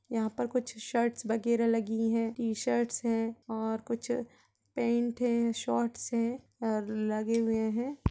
यहाँ पर कुछ शर्ट्स वगैरह लगी है टी-शर्ट्स है और कुछ पैंट है शॉर्टस है और लगे हुए है।